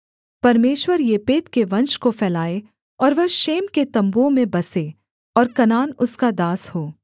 परमेश्वर येपेत के वंश को फैलाए और वह शेम के तम्बुओं में बसे और कनान उसका दास हो